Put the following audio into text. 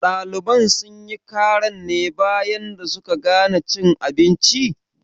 Ɗaliban sunyi karan ne bayan da suka gana cin abinci?